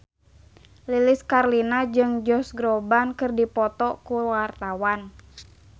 Lilis Karlina jeung Josh Groban keur dipoto ku wartawan